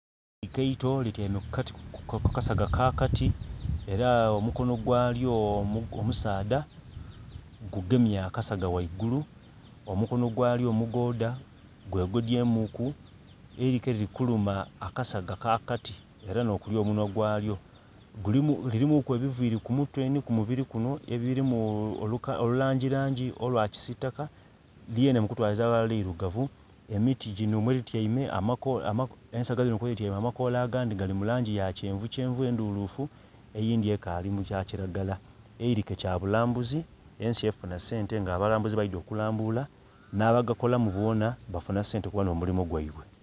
Eilike eito lityaime ku kasaga aka kati era omukonho gwalyo omusaadha gugemye akasaga ghaigulu. Omukonho gwalyo omugoodha gwegodyemuuku. Eilike lili kuluma akasaga ka kati era nh'okuli omunhwa gwalyo. Gulimu lirimuuku ebiviri ku mutwe nhi ku mubiri kunho ebirimu olulangilangi olwa kisitaka, lyenhe mukutwaliza aghalala lilugavu. Emiti ginho mwelityaime ensaga dhinho kwelityaime amakoola agandhi gali mu langi ya kyenvukyenvu endhuluufu eyindhi ekaali mu kya kilagala. Eilike kyabulambuzi ensi efuna sente nga abalambuzi baidye okulambula, n'abagakolamu boona bafuna sente kuba nh'omulimo gwaibwe